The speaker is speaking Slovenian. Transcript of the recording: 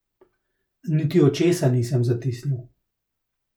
Niti očesa nisem zatisnil.